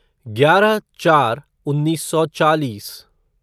ग्यारह चार उन्नीस सौ चालीस